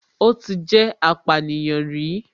Ó ti jẹ́ apànìyàn rí